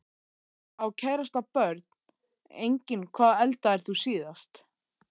Á kærasta Börn: Engin Hvað eldaðir þú síðast?